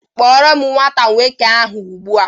Kpọọ nwata nwoke ahụ ugbu a